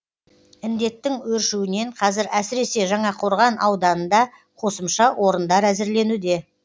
індеттің өршуінен қазір әсіресе жаңақорған ауданында қосымша орындар әзірленуде